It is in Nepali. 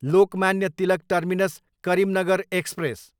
Lokmanya Tilak terminus, Karimnagar express